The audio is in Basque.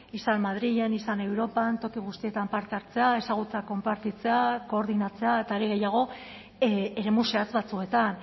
izan madrilen izan europan toki guztietan parte hartzea ezagutza konpartitzea koordinatzea eta are gehiago eremu zehatz batzuetan